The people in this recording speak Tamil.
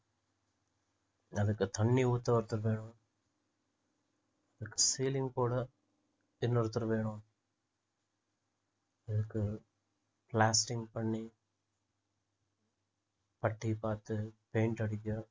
அதுக்கு தண்ணீர் ஊத்த ஒருத்தர் வேணும் அதுக்கு ceiling போட இன்னொருத்தர் வேணும் அதுக்கு plastering பண்ணி பட்டி பார்த்து paint அடிக்க